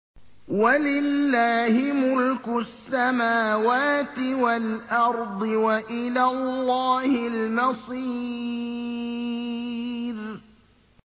وَلِلَّهِ مُلْكُ السَّمَاوَاتِ وَالْأَرْضِ ۖ وَإِلَى اللَّهِ الْمَصِيرُ